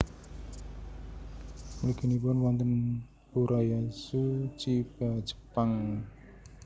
Mliginipun wonten Urayasu Chiba Jepang